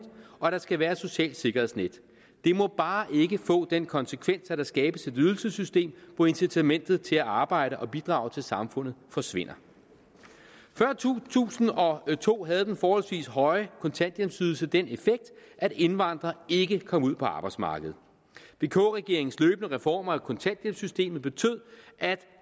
og at der skal være et socialt sikkerhedsnet det må bare ikke få den konsekvens at der skabes et ydelsessystem hvor incitamentet til at arbejde og bidrage til samfundet forsvinder før to tusind og to havde den forholdsvis høje kontanthjælpsydelse den effekt at indvandrere ikke kom ud på arbejdsmarkedet vk regeringens løbende reformer af kontanthjælpssystemet betød at